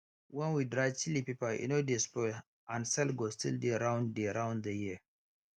when we dry chilli pepper e no dey spoil and sales go still dey round dey round the year